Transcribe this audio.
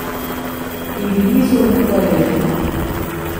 In bili so mu hvaležni.